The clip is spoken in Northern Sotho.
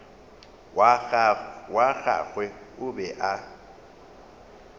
wa gagwe o be a